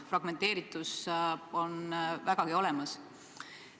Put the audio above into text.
Fragmenteeritus on vägagi olemas.